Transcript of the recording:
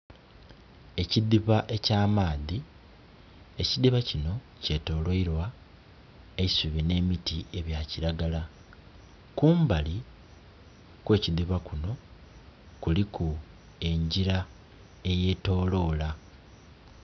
Ekidhiba eky'amaadhi ekidhiba kino kye tolweilwa eisubi ne miti ebya kilagala. Kumbali kwe kidhiba kuno kuliku engira eyetolola.